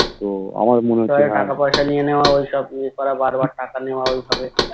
টাকা পয়সা নিয়ে নেওয়া ঐসব ইয়ে করা বারবার টাকা নেওয়া ঐভাবে